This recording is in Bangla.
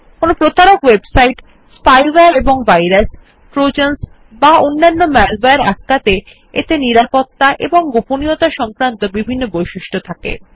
কোনো প্রতারক ওয়েবসাইট স্পাইওয়ারে এবং ভাইরাসে ট্রোজান্স বা অন্যানো মালওয়ারে আটকাতে এতে নিরাপত্তা এবং গোপনীয়তা সংক্রান্ত বিভিন্ন বৈশিষ্ট্য আছে